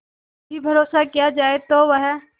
भी भरोसा किया जाए तो वह